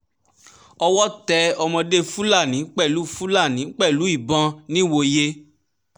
owó tẹ ọmọdé fúlàní pẹ̀lú fúlàní pẹ̀lú ìbọn nìwòye